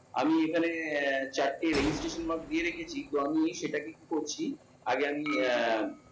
আমি এখানে আহ চারটে registration mark দিয়ে রেখেছি। তো আমি সেটাকে করছি আগে আমি আহ